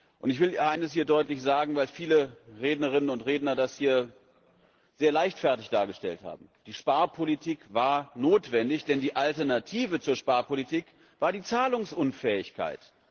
Und ich will eines deutlich sagen, weil viele Rednerinnen und Redner das hier sehr leichtfertig dargestellt haben Die Sparpolitik war notwendig, denn die Alternative zur Sparpolitik war die Zahlungsunfähigkeit.